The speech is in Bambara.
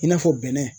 I n'a fɔ bɛnɛ